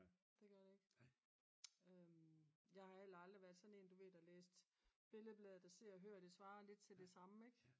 det gør det ikke jeg har heller aldrig været sådan en du ved der læste Billedbladet og Se og Hør det svarer lidt til det samme ik